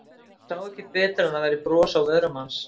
Hún sá ekki betur en að það væri bros á vörum hans.